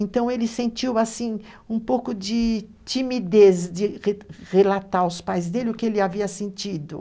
Então, ele sentiu assim um pouco de timidez de re relatar aos pais dele o que ele havia sentido.